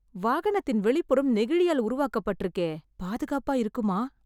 வாகனத்தின் வெளிபுறம் நெகிழியால் உருவாக்கபட்டிருக்கே, பாதுகாப்பா இருக்குமா?